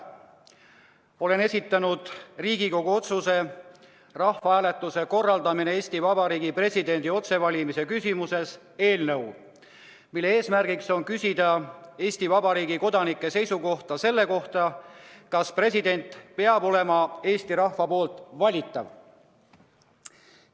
Olen esitanud Riigikogu otsuse "Rahvahääletuse korraldamine Eesti Vabariigi presidendi otsevalimise küsimuses" eelnõu, mille eesmärk on küsida Eesti Vabariigi kodanike seisukohta, kas president peab olema Eesti rahva poolt valitav.